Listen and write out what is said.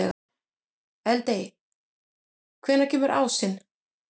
Eldey, hvenær kemur ásinn?